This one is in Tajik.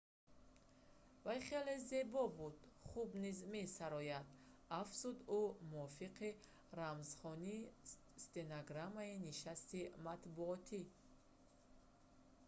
вай хеле зебо буда хуб низ месарояд афзуд ӯ мувофиқи рамзхонии стенограммаи нишасти матбуотӣ